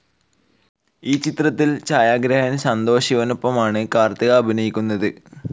ഈ ചിത്രത്തിൽ ഛായാഗ്രാഹകൻ സന്തോഷ് ശിവനൊപ്പമാണ് കാർത്തിക അഭിനയിക്കുന്നത്.